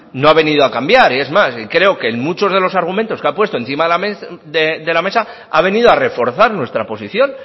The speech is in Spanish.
no ha venido a cambiar es más creo que en muchos de los argumentos que ha puesto encima de la mesa ha venido a reforzar nuestra posición